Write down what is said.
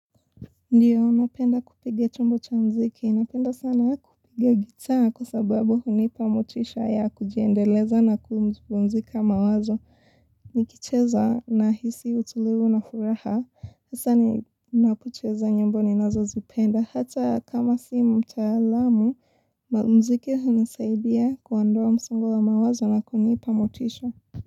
Ndiyo, napenda kupiga chombo cha muziki. Napenda sana kupiga gitaa kwa sababu hunipa motisha ya kujiendeleza na kumpumzika mawazo. Nikicheza nahisi utulivu na furaha. Kisa ni nakucheza nyimbo ni nazo zipenda. Hata kama si mtaalamu, muziki hunisaidia kuondoa msango wa mawazo na kunipa motisha.